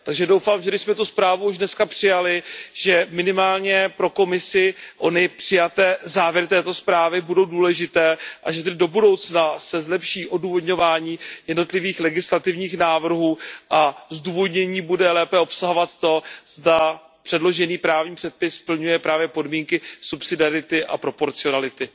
Takže doufám, že když jsme tuto zprávu už dnes přijali, že minimálně pro Komisi ony přijaté závěry zprávy budou důležité a že tedy do budoucna se zlepší odůvodňování jednotlivých legislativních návrhů a zdůvodnění bude lépe obsahovat to, zda předložený právní předpis splňuje právě podmínky subsidiarity a proporcionality.